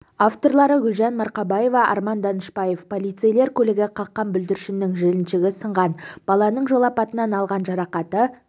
авторлары гүлжан марқабаева арман данышпаев полицейлер көлігі қаққан бүлдіршіннің жіліншігі сынған баланың жол апатынан алған жарақаты